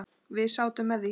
Við sátum með því.